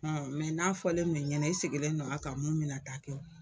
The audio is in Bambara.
n'a fɔlen do i ɲɛna i sigilen don a ka mun mɛna taa kɛ o.